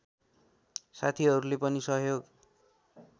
साथीहरूले पनि सहयोग